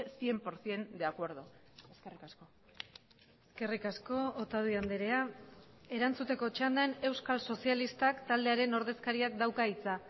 cien por ciento de acuerdo eskerrik asko eskerrik asko otadui andrea erantzuteko txandan euskal sozialistak taldearen ordezkariak dauka hitza